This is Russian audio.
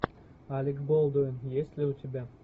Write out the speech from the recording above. алек болдуин есть ли у тебя